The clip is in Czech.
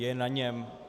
Je na něm -